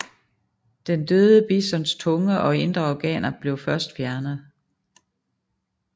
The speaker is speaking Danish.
Den døde bisons tunge og indre organer blev først fjernet